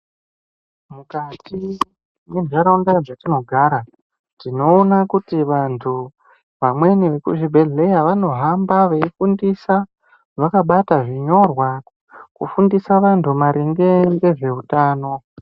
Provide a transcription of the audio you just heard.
Mukati mentaraunda dzetinogara tinoona kuti vamweni vantu vekuchibhedhlera vanohamba veifundisa vakabata zvinyorwa kufundisa vantu maringe nezveutano.